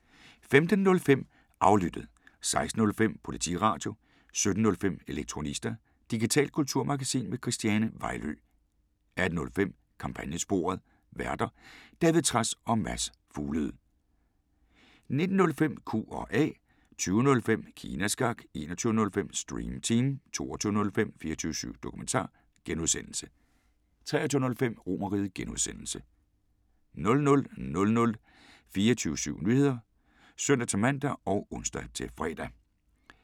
15:05: Aflyttet 16:05: Politiradio 17:05: Elektronista – digitalt kulturmagasin med Christiane Vejlø 18:05: Kampagnesporet: Værter: David Trads og Mads Fuglede 19:05: Q&A 20:05: Kina Snak 21:05: Stream Team 22:05: 24syv Dokumentar (G) 23:05: RomerRiget (G) 00:00: 24syv Nyheder (søn-man og ons-fre)